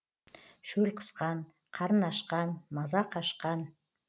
шөл қысқан қарын ашқан маза қашқан